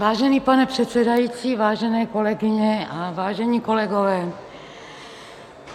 Vážený pane předsedající, vážené kolegyně a vážení kolegové.